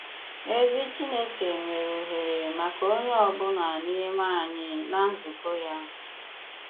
Èzì Chìnékè nwere òhèrè maka onye ọ̀bụ̀la n'ime ànyị̀ ná nzùkọ ya.